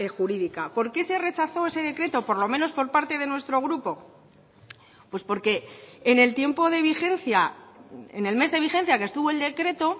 jurídica por qué se rechazó ese decreto por lo menos por parte de nuestro grupo pues porque en el tiempo de vigencia en el mes de vigencia que estuvo el decreto